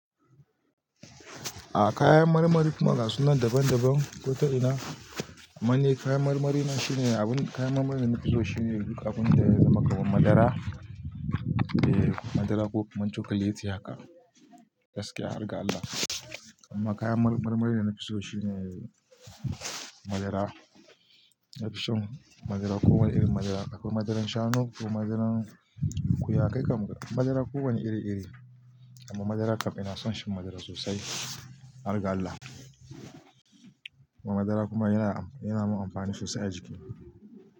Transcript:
A kayan marmarin kuma gasunan daban-daban, ko ta ina, amani kayan marmari na shine abun kayan marmarin da na fi so shine duk abun da ya zama kaman madara, eh madara ko kuma chukuliti haka. Gaskiya, har ga Allah. Amma kayan marmarin da na fi so shine madara. Na fi son madara kowane irin madara, akwai madaran shanu akwai madaran ƙuyanka, madara kowane iri-iri. Amma madara kam ina son shi madara sosai, harga Allah. Amma madara kuma yana, yana mun amfani sosai a jiki.